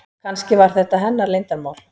Kannski var þetta hennar leyndarmál.